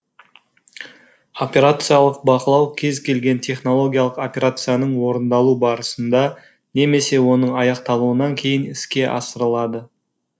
операциялық бақылау кез келген технологиялық операцияның орындалу барысында немесе оның аяқталуынан кейін іске асырылады